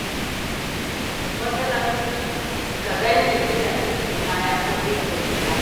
Wata ran ka gan ni ina ɗinkin kaya ko ɗinkin hula.